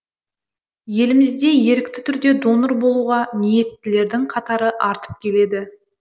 елімізде ерікті түрде донор болуға ниеттілердің қатары артып келеді